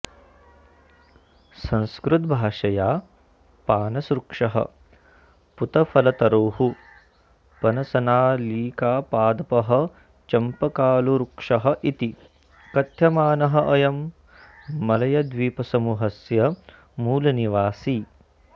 संस्कृतभाषया पानसवृक्षः पूतफलतरुः पनसनालिकापादपः चम्पकालुवृक्षः इति कथ्यमानः अयं मलयद्वीपसमूहस्य मूलनिवासी